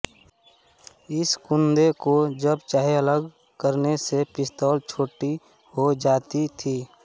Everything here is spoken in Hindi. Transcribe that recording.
इस कुन्दे को जब चाहे अलग करने से पिस्तौल छोटी हो जाती थी